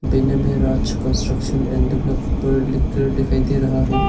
Banner में Raj construction and developer लिख कर दिखाई दे रहा है।